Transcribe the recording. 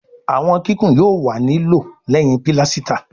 àwọn kíkún yóò wá ní lòó léhìn pilasita